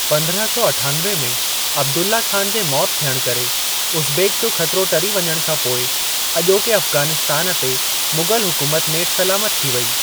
पंद्रहं सौ अठानवे में अब्दुल्लाह ख़ान जे मौति थियणु करे उज़्बेक जो ख़तिरो टरी वञण खां पोइ अॼोके अफ़ग़ानिस्तान ते मुग़ल हुकूमत नेठि सलामत थी वेई।